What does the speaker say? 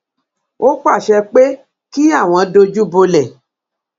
ó pàṣẹ pé kí àwọn dojú bolẹ